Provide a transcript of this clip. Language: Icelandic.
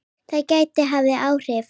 Það gæti haft áhrif.